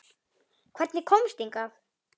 Hvernig komstu hingað?